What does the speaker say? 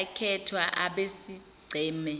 akhethwa abesigceme